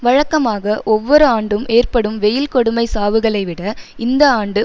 வழக்கமாக ஒவ்வொரு ஆண்டும் ஏற்படும் வெயில் கொடுமை சாவுகளைவிட இந்த ஆண்டு